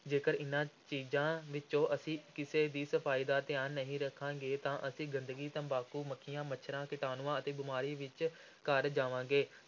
ਜੇਕਰ ਇਨ੍ਹਾਂ ਚੀਜ਼ਾਂ ਵਿੱਚੋਂ ਅਸੀਂ ਕਿਸੇ ਦੀ ਸਫ਼ਾਈ ਦਾ ਧਿਆਨ ਨਹੀਂ ਰੱਖਾਂਗੇ ਤਾਂ ਅਸੀਂ ਗੰਦਗੀ, ਤਬਾਕੂ, ਮੱਖੀਆਂ, ਮੱਛਰਾਂ, ਕੀਟਾਣੂਆਂ ਅਤੇ ਬਿਮਾਰੀਆਂ ਵਿਚ ਘਿਰ ਜਾਵਾਂਗੇ।